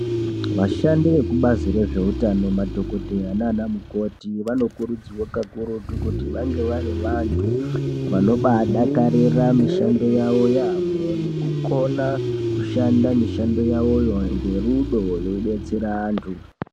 Vashandi vekubazi rezveutano madhokodheya naanamukoti vanokurudzirwa maningi vange varivantu vanobadakarira mishando wavo yaamho nekukona kushanda mishando yawoyo ngerudo veibetsera vantu.